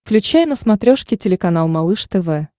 включай на смотрешке телеканал малыш тв